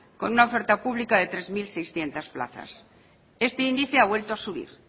con una oferta pública de tres mil seiscientos plazas este índice ha vuelto a subir